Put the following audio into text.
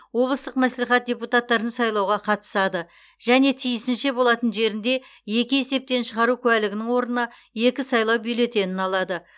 облыстық мәслихат депутаттарын сайлауға қатысады және тиісінше болатын жерінде екі есептен шығару куәлігінің орнына екі сайлау бюллетенін алады